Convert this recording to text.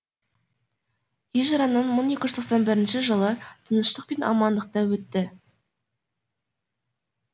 хижраның мың тоғыз жүз тоқсан бірінші жылы тыныштық пен амандықта өтті